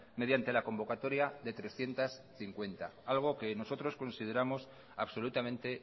mediante la convocatoria de trescientos cincuenta algo que nosotros consideramos absolutamente